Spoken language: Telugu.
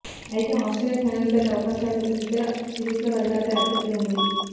అయితే ఆస్ట్రేలియా ఫైనల్ బెర్త్ అవకాశాలు ఇతర సిరీస్ల ఫలితాలపై ఆధారపడి ఉంది